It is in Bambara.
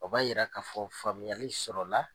O b'a Yira k'a fɔ faamuyali sɔrɔ la